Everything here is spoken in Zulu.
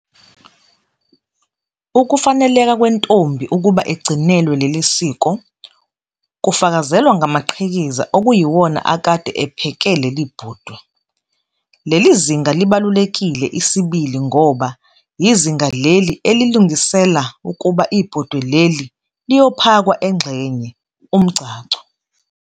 Ukufaneleka kwentombi ukuba igcinelwe leli siko kufakazelwa ngamaqhikiza okuyiwona akade epheke leli 'bhodwe'. Leli zinga libalulekile isibili ngoba yizinga leli elilungisela ukuba ibhodwe leli Iiyophakwa engxenye, umgcagco.